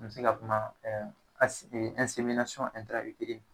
N mɛ se ka kuma